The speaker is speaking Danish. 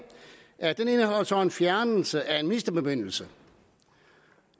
så at en fjernelse af en ministerbemyndigelse